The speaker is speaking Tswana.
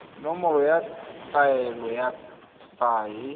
nomoro ya taelo ya paye